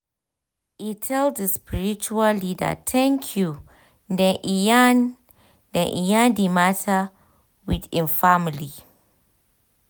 e tell d spiritual leader thank you then e yarn then e yarn di matter with im family.